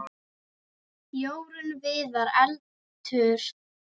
Jórunn Viðar: Eldur.